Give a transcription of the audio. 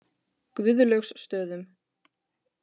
Guðlaugsstöðum